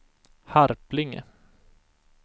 Harplinge